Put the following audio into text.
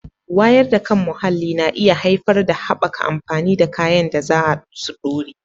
Wayar da kan muhalli na iya haifar da haɓaka amfani da kayan da za su ɗore